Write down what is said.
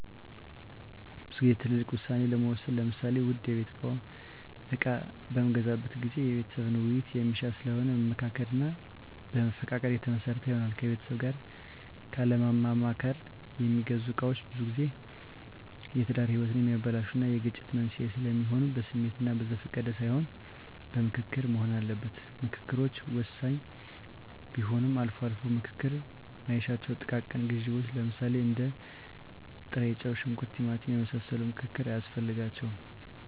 ብዙ ግዜ ትልልቅ ውሳኔ ለመወሰን ለምሳሌ ውድ የቤት እቃ በምገዛበት ጊዜ የቤተሰብን ዉይይት የሚሻ ስለሆነ በመመካከር እና በመፈቃቀድ የተመሰረተ ይሆናል። ከቤተሰብ ጋር ካለማማከር የሚገዙ ነገሮች ብዙጊዜ የትዳር ህይወትን የሚያበላሹ እና የግጭት መንስዔ ስለሚሆኑ በስሜት እና በዘፈቀደ ሳይሆን በምክክር መሆን አለበት። ምከክሮች ወሳኝ ቢሆንም አልፎ አልፎ ምክክር ማይሻቸው ጥቃቅን ግዢዎች ለምሳሌ እንደ ጥሬጨው; ሽንኩርት; ቲማቲም የመሳሰሉ ምክክር አያስፈልጋቸውም።